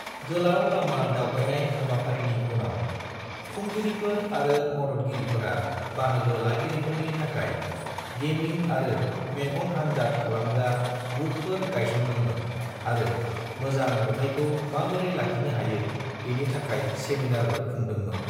गोलाव लामा दावबायनाय हाबाफारिनि उनाव, खुंगिरिफोर आरो मददगिरिफोरा बाहागो लागिरिफोरनि थाखाय गेमिं आरो मेगन-आनजाद खालामग्रा बुथफोर गायसनदोंमोन आरो मोजां नुथायखौ माबोरै लाखिनो हायो बेनि थाखाय सेमिनारबो खुंदोंमोन।